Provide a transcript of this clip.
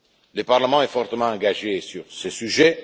Le Parlement est fortement engagé sur ce sujet.